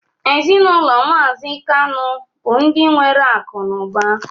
Ezinụlọ mazi kanu bu ndi nwere akụ na ụba